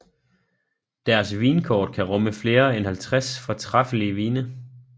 Deres vinkort kan rumme flere end 50 fortræffelige vine